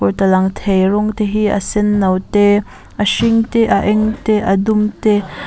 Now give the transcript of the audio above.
heta lang thei rawng te hi a sen no te a hring te a eng te a dum te--